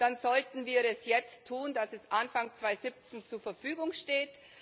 Dann sollten wir es jetzt tun, dass es Anfang 2017 zur Verfügung steht.